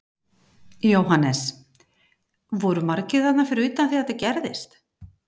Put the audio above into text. Jóhannes: Voru margir þarna fyrir utan þegar þetta gerðist?